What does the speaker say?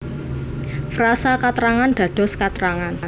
Frasa katrangan dados katrangan